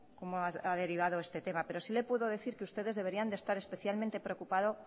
cómo ha derivado este tema pero sí le puedo decir que ustedes deberían de estar especialmente preocupados